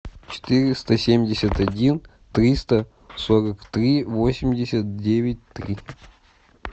четыреста семьдесят один триста сорок три восемьдесят девять три